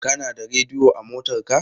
Kana da rediyo a motarka?